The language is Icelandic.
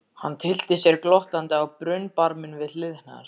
Hann tyllti sér glottandi á brunnbarminn við hlið hennar.